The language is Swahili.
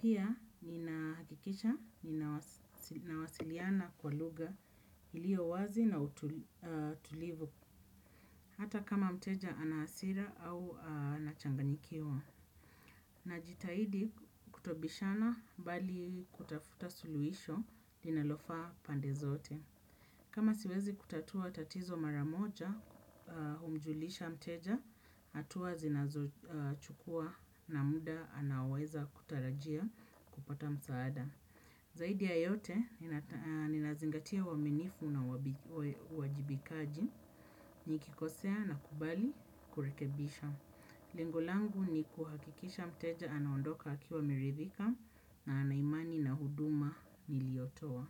Pia nina hakikisha ninawasiliana kwa lugha iliyo wazi na utulivu. Hata kama mteja ana hasira au ana changanikiwa. Najitahidi kutobishana bali kutafuta suluhisho linalofaa pande zote. Kama siwezi kutatua tatizo mara moja humjulisha mteja hatuwa zinazochukua na muda anaoweza kutarajia kupata msaada. Zaidi ya yote ninazingatia uaminifu na uajibikaji nikikosea nakubali kurekebisha. Lengolangu ni kuhakikisha mteja anaondoka akiwa ameridhika na ana imani na huduma niliotoa.